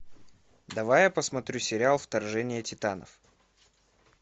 давай я посмотрю сериал вторжение титанов